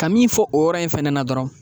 Ka min fɔ o yɔrɔ in fɛnɛ na dɔrɔn